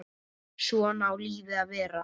Svona á lífið að vera.